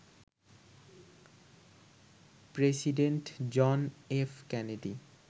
president John F Kennedy